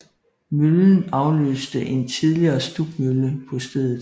Møllen afløste en tidligere stubmølle på stedet